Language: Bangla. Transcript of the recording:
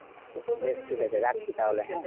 বেশ ঠিক আছে রাখছি তাহলে হ্যাঁ